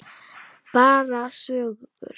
Bara sögur.